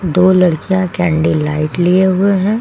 दो लड़कियां candle light लिए हुए हैं।